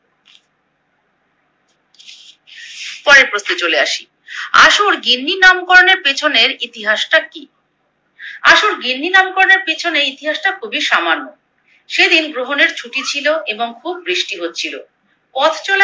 পরের প্রশ্নে চলে আসি। আশুর গিন্নি নামকরণের পেছনের ইতিহাসটা কি? আশুর গিন্নি নামকরণের পেছনে ইতিহাসটা খুবই সামান্য, সেদিন গ্রহণের ছুটি ছিলো এবং খুব বৃষ্টি হচ্ছিলো, পথ চলা